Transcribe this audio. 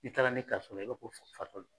I taala ne ta fɔlɔ, i b'a fɔ ko fatɔ don .